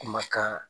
Kumakan